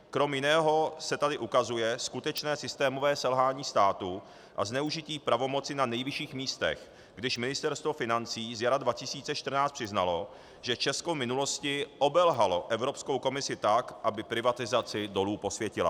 Kromě jiného se tady ukazuje skutečné systémové selhání státu a zneužití pravomoci na nejvyšších místech, když Ministerstvo financí zjara 2014 přiznalo, že Česko v minulosti obelhalo Evropskou komisi tak, aby privatizaci dolů posvětila.